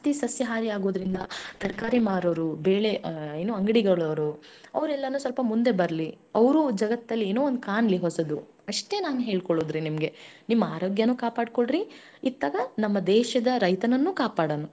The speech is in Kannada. ಇಷ್ಟ ನಾನ್ ಹೇಳಾಕ ಇಷ್ಟಪಡ್ತೀನಿ ರೀ.